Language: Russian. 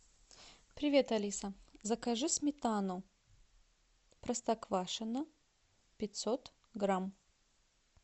привет алиса закажи сметану простоквашино пятьсот грамм